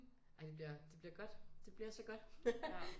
Ej det bliver det bliver godt det bliver så godt haha